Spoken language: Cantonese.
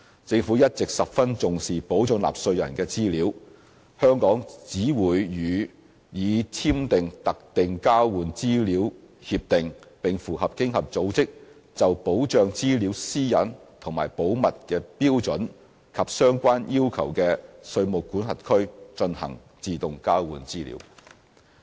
政府一直十分重視保障納稅人的資料，而香港只會與已簽訂特定交換資料協定，並符合經合組織就保障資料私隱和保密的標準及相關要求的稅務管轄區，進行自動交換資料。